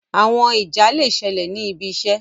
Àwọn ìjà le ṣẹlẹ ní ibì iṣé